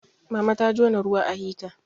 mama ta jona ruwa a hita